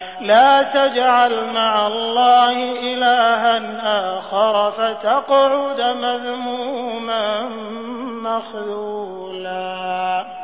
لَّا تَجْعَلْ مَعَ اللَّهِ إِلَٰهًا آخَرَ فَتَقْعُدَ مَذْمُومًا مَّخْذُولًا